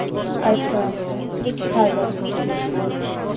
আচ্ছা আচ্ছা বেশ ভালো